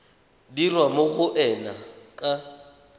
dirwa mo go ena ka